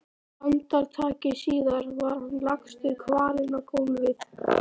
Andartaki síðar var hann lagstur kvalinn á gólfið.